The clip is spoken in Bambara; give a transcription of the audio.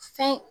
Fɛn